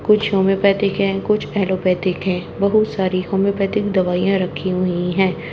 कुछ होम्योपैथिक है कुछ एलोपैथिक है बहुत सारी होम्योपैथिक दवाइयां रखी हुई है।